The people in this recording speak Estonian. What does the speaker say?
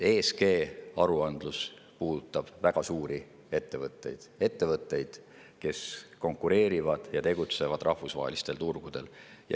ESG-aruandlus puudutab väga suuri ettevõtteid, kes konkureerivad ja tegutsevad rahvusvahelistel turgudel.